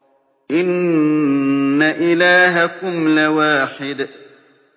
إِنَّ إِلَٰهَكُمْ لَوَاحِدٌ